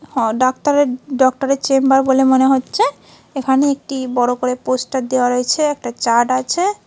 হ ডাক্তারের ডক্তর -এর চেম্বার বলে মনে হচ্ছে এখানে একটি বড় করে পোস্টার দেওয়া রয়েছে একটা চার্ট আছে ।